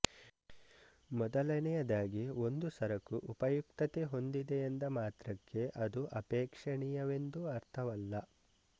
ಮೊದಲನೆಯದಾಗಿ ಒಂದು ಸರಕು ಉಪಯುಕ್ತತೆ ಹೊಂದಿದೆಯೆಂದ ಮಾತ್ರಕ್ಕೆ ಅದು ಅಪೇಕ್ಷಣೀಯವೆಂದು ಅರ್ಥವಲ್ಲ